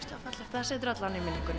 það situr alla vega í minningunni